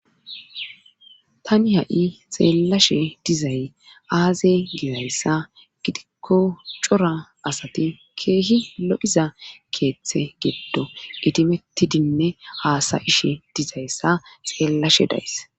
Tani ha7i xeellashe dizay aaze gizayssa gidikko cora asati keehi lo7iza keeththe geddo itimettidinne haasayishe dizayssa xeellashe days .